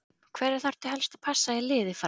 Hverja þarftu helst að passa í liði Fram?